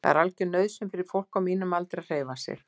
Það er algjör nauðsyn fyrir fólk á mínum aldri að hreyfa sig.